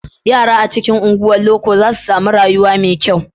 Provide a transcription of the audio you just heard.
Yara a cikin unguwar loko za su sami rayuwa mai kyau.